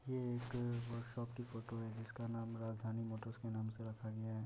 ये एक workshop की फोटो है जिसका नाम राजधानी मोटर्स के नाम से रखा गया है।